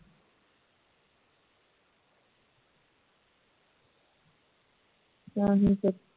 ਤਾਂਹੀ ਤਾਂ